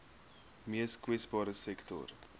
mees kwesbare sektore